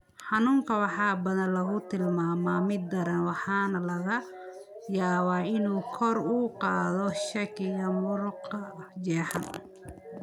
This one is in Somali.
Xanuunka waxaa badanaa lagu tilmaamaa mid daran waxaana laga yaabaa inay kor u qaaddo shakiga muruqa jeexan.